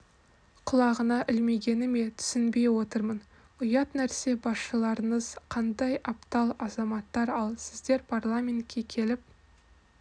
құлағына ілмегені ме түсінбей отырмын ұят нәрсе басшыларыңыз қандай аптал азаматтар ал сіздер парламентке келіп